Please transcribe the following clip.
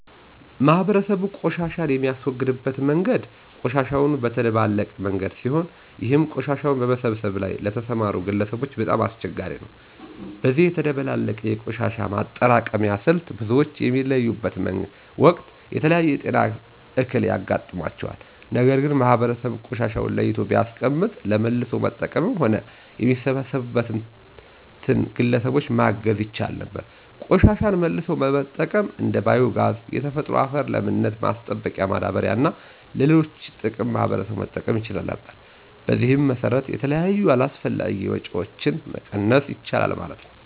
ማህበረሰቡ ቆሻሻን የሚያስወግድበት መንገድ ቆሻሻውን በተደባለቀ መንገድ ሲሆን ይህም ቆሻሻውን በመሰብሰብ ላይ ለተሰማሩ ግለሰቦች በጣም አስቸጋሪ ነው። በዚህ የተደባለቀ የቆሻሻ ማጠራቀሚያ ስልት ብዙዎች በሚለዩበት ወቅት የተለያየ የጤና እክል ያጋጥማቸዋል። ነገር ግን ማህበረሰቡ ቆሻሻውን ለይቶ ቢያስቀምጥ ለመልሶ መጠቀምም ሆነ የሚሰበሰብበትን ግለሰቦች ማገዝ ይቻል ነበር። ቆሻሻን መልሶ በመጠቀም እንደ ባዮ ጋዝ፣ የተፈጥሮ የአፈር ለምነት ማስጠበቂያ ማዳበሪያ እና ለሌሎች ጥቅም ማህበረሰቡ መጠቀም ይችል ነበር። በዚህም መሰረት የተለያዩ አላስፈላጊ ወጭዎችን መቀነስ ይቻላል ማለት ነው።